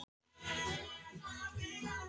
Það er að segja þeir eru þar ekki lengur, en.